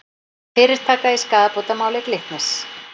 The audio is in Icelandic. Fyrirtaka í skaðabótamáli Glitnis